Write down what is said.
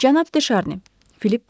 Cənab De Şarni, Filip dedi.